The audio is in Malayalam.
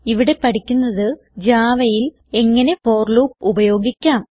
ഇവിടെ പഠിക്കുന്നത് Javaയിൽ എങ്ങനെ ഫോർ ലൂപ്പ് ഉപയോഗിക്കാം